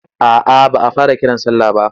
A'a ba a fara kiran sallah ba.